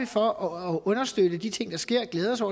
for at understøtte de ting der sker og glæde sig